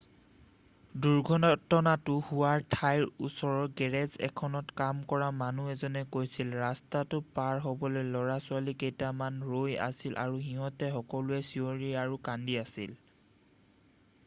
"দুৰ্ঘটনাতো হোৱা ঠাইৰ ওচৰৰ গেৰেজ এখনত কাম কৰা মানুহ এজনে কৈছিল "ৰাস্তাটো পাৰ হ'বলৈ ল'ৰা-ছোৱালী কেইটামান ৰৈ আছিল আৰু সিহঁতে সকলোৱে চিঞৰি আৰু কান্দি আছিল।""